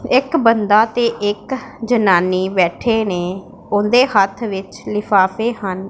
ਇੱਕ ਬੰਦਾ ਤੇ ਇੱਕ ਜਨਾਨੀ ਬੈਠੇ ਨੇਂ ਓਹੰਦੇਂ ਹੱਥ ਵਿੱਚ ਲਿਫਾਫੇ ਹਨ।